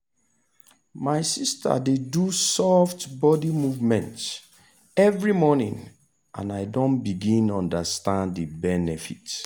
my sister dey do soft body movement every morning and i don begin understand the benefit.